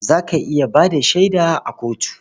Za ka iya ba da shaida a kotu?